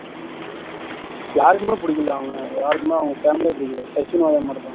யாருக்குமே புடிக்கல அவன யாருக்குமே அவங்க family யே பிடிக்காது சச்சினும் அது மாதிரி தான்